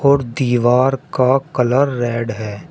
और दीवार का कलर रेड है।